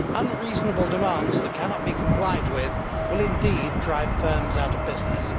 Unreasonable demands that cannot be complied with will indeed drive firms out of business.